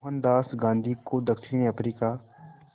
मोहनदास गांधी को दक्षिण अफ्रीका